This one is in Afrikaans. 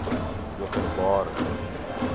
openbare